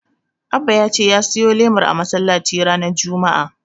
Abba ya ce ya siyo lemar a masallaci ranar Juma'a.